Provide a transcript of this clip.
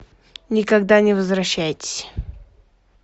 никогда не возвращайтесь